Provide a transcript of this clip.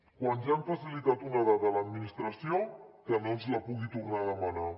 quan ja hem facilitat una dada a l’administració que no ens la pugui tornar a demanar